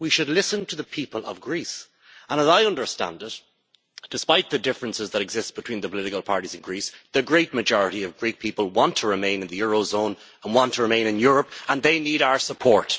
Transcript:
We should listen to the people of Greece and, as I understand it, despite the differences that exist between the political parties in Greece, the great majority of Greek people want to remain in the eurozone and in Europe and they need our support.